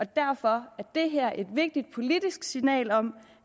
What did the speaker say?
derfor er det her er et vigtigt politisk signal om